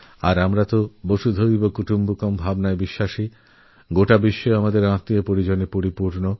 আর আমরা তো বসুধৈব কুটুম্বকম মেনে চলি অর্থাৎপুরো বিশ্বই আমাদের পরিবার